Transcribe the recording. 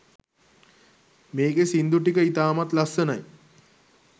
මේකේ සින්දු ටික ඉතාමත් ලස්සනයි